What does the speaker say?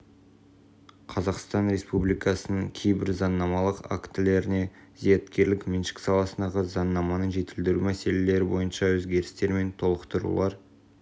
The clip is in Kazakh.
қазақстан республикасының кейбір заңнамалық актілеріне зияткерлік меншік саласындағы заңнаманы жетілдіру мәселелері бойынша өзгерістер мен толықтырулар